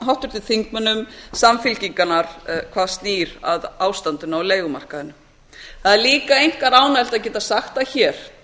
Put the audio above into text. háttvirtum þingmönnum samfylkingarinnar hvað snýr að ástandinu á leigumarkaðnum það er líka einkar ánægjulegt að geta sagt það hér